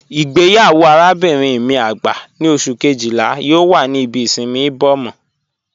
Igbeyawo arábinrin mi agbá ni Ọṣù kejìlá yoo wà ní ìbí ìṣinmí Ìbòmọ́